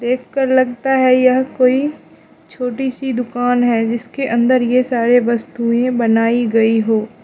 देख कर लगता है यह कोई छोटी सी दुकान है जिसके अंदर ये सारे वस्तुएं बनाई गई हो।